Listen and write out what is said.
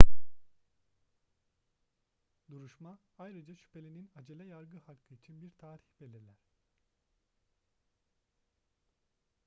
duruşma ayrıca şüphelinin acele yargı hakkı için bir tarih belirler